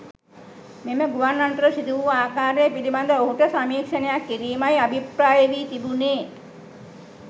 මෙම ගුවන් අනතුර සිදු වූ ආකාරය පිළිබඳ ඔහුට සමීක්‍ෂණයක් කිරීමයි අභිප්‍රාය වී තිබුණේ.